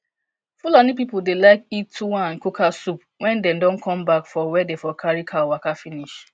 fulani people dey like eat tuwo and kuka soup wen dem don come back for where dey for carry cow waka finish